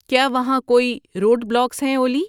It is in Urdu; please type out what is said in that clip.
کیا وہاں کوئی روڈ بلاکس ہیں اولی